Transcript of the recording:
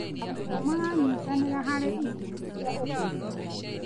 Arutwo maranyitanĩra harĩ ikundi cia ũteithio.